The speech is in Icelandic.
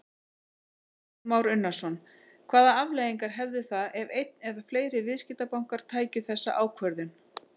Kristján Már Unnarsson: Hvaða afleiðingar hefðu það ef einn eða fleiri viðskiptabankar tækju þessa ákvörðun?